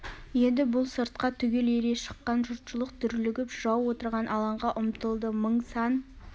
еді бұл сыртқа түгел ере шыққан жұртшылық дүрлігіп жырау отырған алаңға ұмтылды мың сан